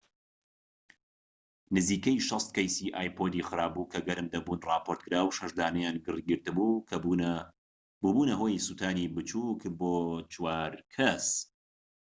نزیکەی ٦٠ کەیسی ئایپۆدی خراپبوو کە گەرم دەبوون راپۆرتکرا، و شەش دانەیان گری گرتبوو کە بووبونە هۆی سوتانی بچوك بۆ چوار کەس